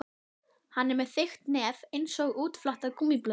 Hann er með þykkt nef einsog útflatta gúmmíblöðru.